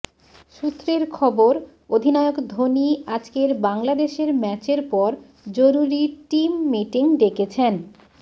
সূত্রের খবর অধিনায়ক ধোনি আজকের বাংলাদেশের ম্যাচের পর জরুরি টিম মিটিং ডেকেছেন